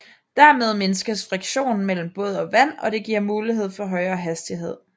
Dermed mindskes friktionen mellem båd og vand og det giver mulighed for højere hastighed